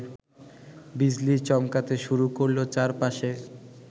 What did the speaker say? বিজলি চমকাতে শুরু করল চারপাশে